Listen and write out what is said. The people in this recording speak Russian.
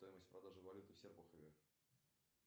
стоимость продажи валюты в серпухове